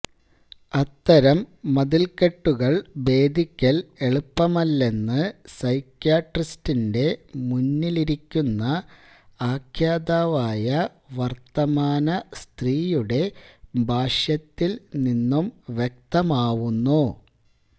അത്തരം മതില്ക്കെട്ടുകള് ഭേദിക്കല് എളുപ്പമല്ലെന്ന് സൈക്യാട്രിസ്റ്റിന്റെ മുന്നിലിരിക്കുന്ന ആഖ്യാതാവായ വര്ത്തമാന സ്ത്രീയുടെ ഭാഷ്യത്തില് നിന്നും വ്യക്തമാവുന്നു